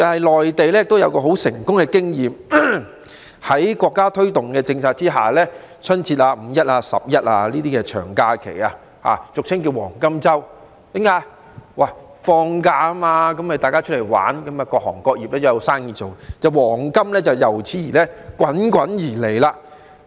內地也有很成功的經驗，在國家推動的政策下，例如春節、"五一"、"十一"等長假期俗稱為"黃金周"，因為大家在放假時都會出外遊玩，各行各業也有生意做，於是黃金便滾滾而來。